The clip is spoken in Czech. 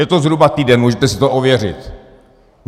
Je to zhruba týden, můžete si to ověřit.